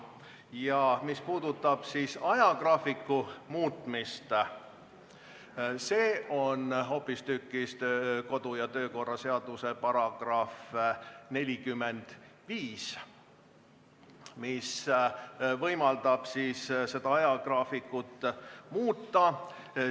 Ja mis puudutab ajagraafiku muutmist – see on hoopistükkis kodu- ja töökorra seaduse § 45, mis võimaldab ajagraafikut muuta.